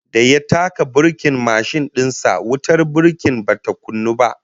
Da ya taka burkin mashin din sa, wutar burki bata kunnu ba